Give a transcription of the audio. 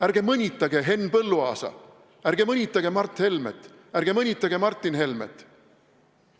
Ärge mõnitage Henn Põlluaasa, ärge mõnitage Mart Helmet, ärge mõnitage Martin Helmet!